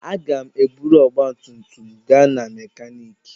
Aga m eburu ọgba tum tum gaa na mekaniki.